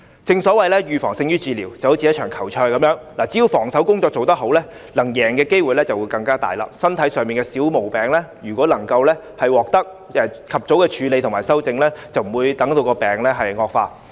正所謂預防勝於治療，正如一場球賽，只要防守工作做得好，勝出的機會便會增加，身體上的小毛病如果能夠及早處理和修正，病情便不會惡化。